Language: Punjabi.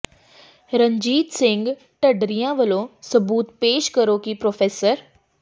ਰਣਜੀਤ ਸਿੰਘ ਢੱਡਰੀਆਂ ਵਾਲਿਓ ਸਬੂਤ ਪੇਸ਼ ਕਰੋ ਕਿ ਪ੍ਰੋ